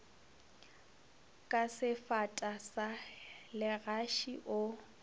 ka sefata sa legaši o